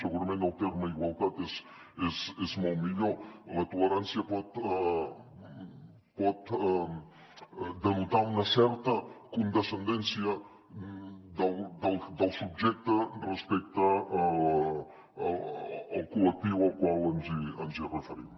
segurament el terme igualtat és molt millor la tolerància pot denotar una certa condescendència del subjecte respecte al col·lectiu al qual ens referim